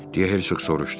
deyə Herkoq soruşdu.